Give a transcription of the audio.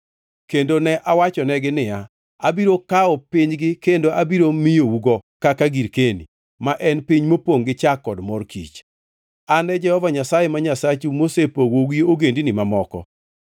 Kendo ne awachonegi niya, “Abiro kawo pinygi kendo abiro miyougo kaka girkeni, ma en piny mopongʼ gi chak kod mor kich.” An e Jehova Nyasaye ma Nyasachu mosepogou gi ogendini mamoko.